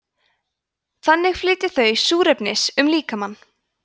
þannig flytja þau súrefnis um líkamann